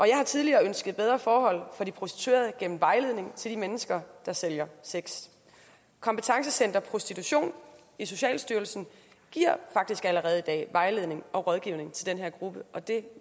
jeg har tidligere ønsket bedre forhold for de prostituerede gennem vejledning til de mennesker der sælger sex kompetencecenter prostitution i socialstyrelsen giver faktisk allerede i dag vejledning og rådgivning til den her gruppe og det